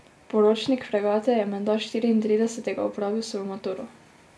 Poročnik fregate je menda štiriintridesetega opravil svojo maturo.